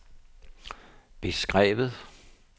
beskrevet